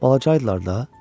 Balaca idilər də.